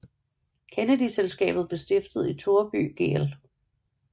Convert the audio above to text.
Kennedy Selskabet blev stiftet i Toreby gl